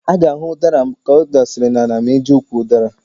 A ga-ahụ ụdara ka ọ dasịsịrị n'ala ma ị jee ukwu ụdara.